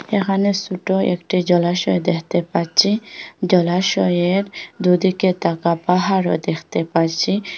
এখানে সোট একটি জলাশয় দেখতে পাচ্ছি জলাশয়ের দুদিকে তাগা পাহাড়ও দেখতে পারছি।